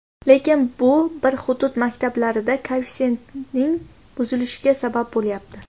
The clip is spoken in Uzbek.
Lekin bu bir hudud maktablarida koeffitsiyentning buzilishiga sabab bo‘lyapti.